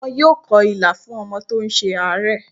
Wọ́n yóò kọ Ilà fún ọmọ tó ń ṣe àárẹ̀.